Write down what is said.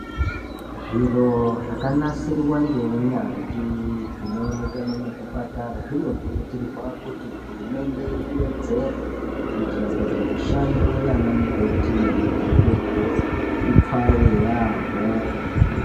Zviro zvakanasirwa ngeu nyanzvi zvinooneke muzvipatara zvinokurudzirwa kuti hurumende iwedzere kuitira kuti mishando yaana mukoti nemadhokodheya ipfawe yaamho